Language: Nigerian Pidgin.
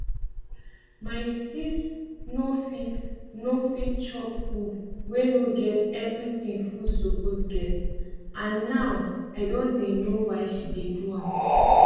my sis nor fit nor fit chop food wey nor get everything food suppose get and now i don know why she dey do am